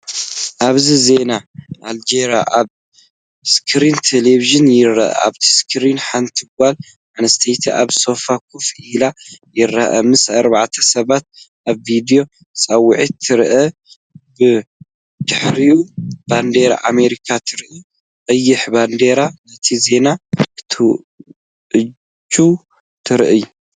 ኣብዚ ዜና ኣልጀዚራ ኣብ ስክሪን ቴሌቪዥን ይርአ። ኣብቲ ስክሪን፡ ሓንቲ ጓል ኣንሰተይቲ ኣብ ሶፋ ኮፍ ኢሉ ይርአ። ምስ ኣርባዕተ ሰባት ኣብ ቪድዮ ጻውዒት ትረአ። ብድሕሪኣ ባንዴራ ኣሜሪካ ትረአ። ቀይሕ ባነር ነቲ ዜና ክትእውጅ ትረአ።